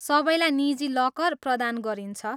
सबैलाई निजी लकर प्रदान गरिन्छ।